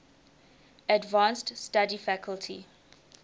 advanced study faculty